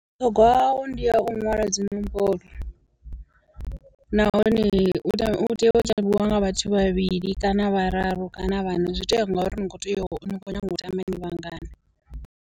Vhuṱhogwa hawo ndiya u nwala dzi nomboro, nahone u tea u tea u tambiwa nga vhathu vhavhili kana vhararu kana vhana, zwi tou ya ngauri ni kho tea u ni kho nyaga u tamba ni vhangana.